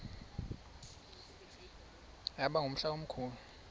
yaba ngumhla omkhulu